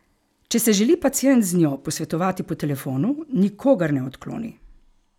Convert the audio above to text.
Če se želi pacient z njo posvetovati po telefonu, nikogar ne odkloni.